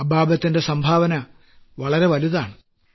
അബാബത്തിന്റെ സംഭാവന വളരെ വലുതാണ്